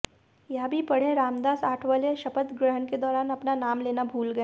यह भी पढ़ेंः रामदास आठवले शपथ ग्रहण के दौरान अपना नाम लेना भूल गए